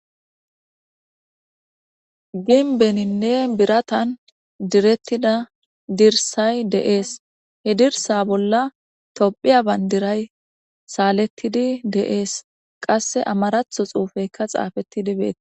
Gimmbeninne birattan direttida dirssayi de'esi he dirssa bolla tophphiya banddirayi salletidi de'esi qasse ammaratho xuffeyikka xaffetidi bettes.